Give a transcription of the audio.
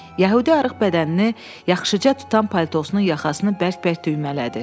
Yəhudi arıq bədənini yaxşıca tutan paltosunun yaxasını bərk-bərk düymələdi.